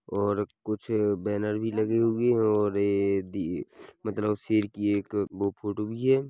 और अ कुछ बेनर भी लगी हुई हे और ये बी मतलब सिर की एक बू फोटो भी हे।